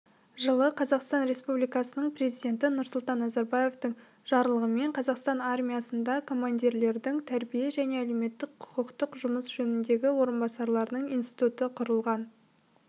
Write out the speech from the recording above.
жылы қазақстан республикасының президенті нұрсұлтан назарбаевтың жарлығымен қазақстан армиясында командирлердің тәрбие және әлеуметтік-құқықтық жұмыс жөніндегі орынбасарларының институты құрылған